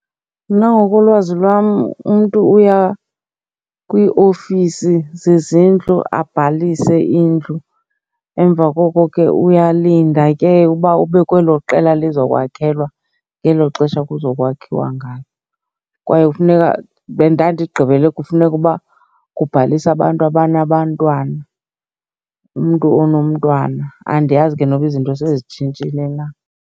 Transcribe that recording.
Mna ngokolwazi lwam umntu uya kwiiofisi zezindlu abhalise indlu. Emva koko ke uyalinda ke uba ube kwelo qela lizokwakhelwa ngelo xesha kuzo kwakhiwa ngalo. Kwaye kufuneka ndandigqibele kufuneka uba kubhalisa abantu abanabantwana, umntu onomntwana. Andiyazi ke noba izinto sezitshintshile na.